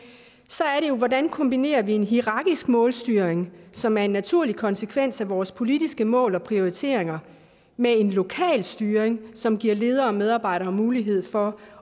hvordan kombinerer vi en hierarkisk målstyring som er en naturlig konsekvens af vores politiske mål og prioriteringer med en lokal styring som giver ledere og medarbejdere mulighed for